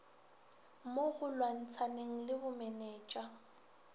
mo go lwantshaneng le bomenetsa